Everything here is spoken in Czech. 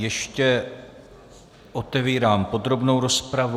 Ještě otevírám podrobnou rozpravu.